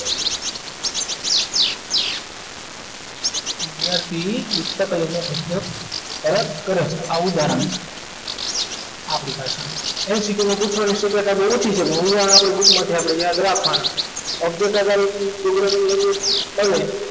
વિદ્યાર્થી પુસ્તકાલયમાં પુસ્તક પરત કરે છે આ ઉદાહરણ આપણી પાસે MCQ માં પુછાય શકે શક્યતા ઓછી છે પણ ઉદાહરણ આપણી book માંથી આપણે યાદ રાખવાના object આધારિત programming language પણ